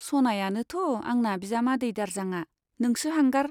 सनायानोथ' आंना बिजामादै दारजांआ, नोंसो हांगार।